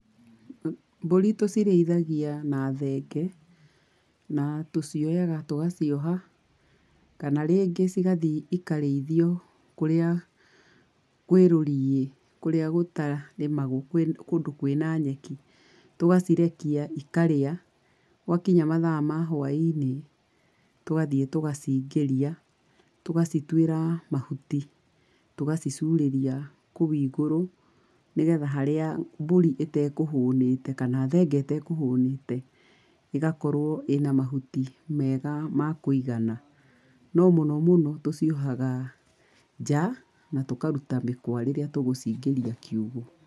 Mbũri tũcirĩithagia na thenge. Na tũcioyaga tũgacioha kana rĩngĩ cigathi ikarĩithio kũrĩa kwĩrũriĩ, kũrĩa gũtarĩmagwo, kũndũ kwĩna nyeki. Tũgacirekia ikarĩa. Gwakinya mathaa ma hwaĩ-inĩ tũgathiĩ tũgaciingĩria, tũgacituĩra mahuti, tũgacicurĩria kũu igũrũ nĩgetha harĩa mbũri ĩtekũhũnĩte kana thenge ĩtekũhũnĩte, ĩgakorwo ĩna mahuti mega ma kũigana. No mũno mũno tũciohaga nja, na tũkaruta mĩkwa rĩrĩa tũgũciingĩria kiugũ.